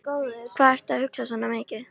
Hvað ertu að hugsa svona mikið?